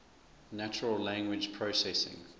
natural language processing